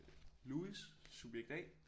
Louis subjekt A